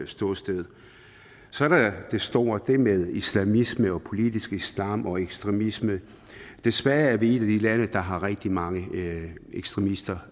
ståsted så er der det store altså det med islamisme og politisk islam og ekstremisme desværre er vi et af de lande der har rigtig mange ekstremister